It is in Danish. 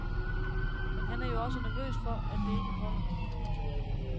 Men han er jo også nervøs for, at det ikke holder.